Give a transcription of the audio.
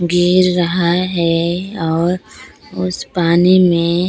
गिर रहा है और उस पानी में--